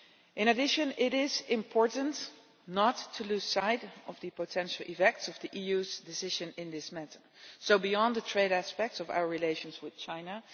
In addition, it is important not to lose sight of the potential effects of the EU's decision in this matter, beyond the trade aspects of our relations with China.